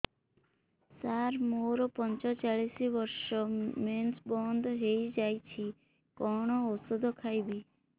ସାର ମୋର ପଞ୍ଚଚାଳିଶି ବର୍ଷ ମେନ୍ସେସ ବନ୍ଦ ହେଇଯାଇଛି କଣ ଓଷଦ ଖାଇବି